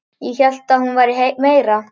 Ég hélt að hún væri meira